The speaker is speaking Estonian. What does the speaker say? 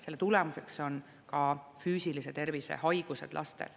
Selle tulemuseks on ka füüsilise tervise haigused lastel.